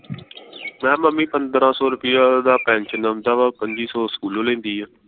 ਮੈਂ ਮੰਮੀ ਪੰਦਰਾਂ ਸੌ ਰੁਪਿਆ ਦਾ ਪੈਨਸ਼ਨ ਆਉਂਦਾ ਵਾ ਪੰਝੀ ਸੌ ਸਕੂਲੋਂ ਲੈਂਦੀ ਆ